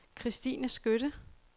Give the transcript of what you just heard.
Christine Skytte